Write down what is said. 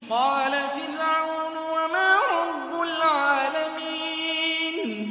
قَالَ فِرْعَوْنُ وَمَا رَبُّ الْعَالَمِينَ